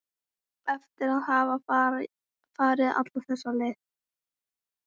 Eftir að hafa farið alla þessa leið?